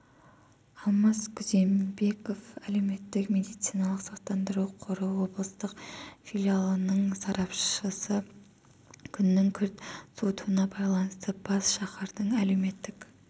алмас күзембеков әлеуметтік медициналық сақтандыру қоры облыстық филиалының сарапшысы күннің күрт суытуына байланысты бас шаһардың әлеуметтік